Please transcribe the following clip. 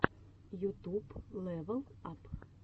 ютуб лэвал ап